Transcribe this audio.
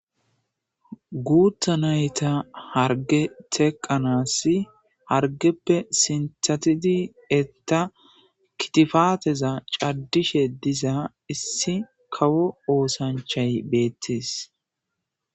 Guuta nayta harge teqanas hargeppe sinthatidi etta kitifaateza caddishe diza issi kawo oosanchay beettes